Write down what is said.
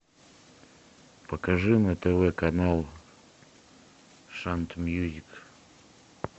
покажи на тв канал шант мьюзик